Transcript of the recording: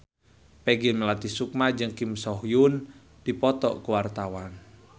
Peggy Melati Sukma jeung Kim So Hyun keur dipoto ku wartawan